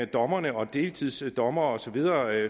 dommerne om deltidsdommere og så videre